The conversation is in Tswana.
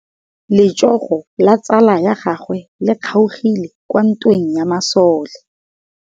Letsôgô la tsala ya gagwe le kgaogile kwa ntweng ya masole.